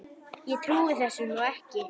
Ég trúi þessu nú ekki!